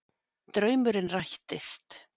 Draumurinn rættist